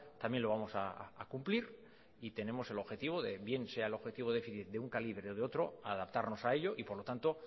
también lo vamos a cumplir y tenemos el objetivo de bien sea el objetivo déficit de un calibre o de otro adaptarnos a ello y por lo tanto